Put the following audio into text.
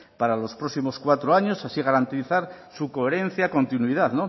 para los próximos cuatro años y así garantizar su coherencia y continuidad